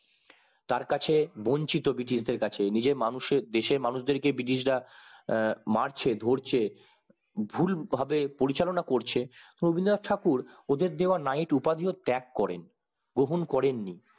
তার কাছে বঞ্চিত ব্রিটিশদের কাছে নিজের মানুষের দেশের মানুষ দের কে ব্রিটিশরা আহ মারছে ধরছে ভুলভাবে পরিচালনা করছে রবীন্দ্রনাথ ঠাকুর ওদের দেওয়া knight উপাধিও ত্যাগ করেন গ্রহণ করেন নি